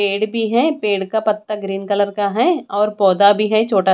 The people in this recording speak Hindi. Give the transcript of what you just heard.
पेड़ भी है पेड़ का पत्ता ग्रीन कलर का है और पौधा भी है छोटा--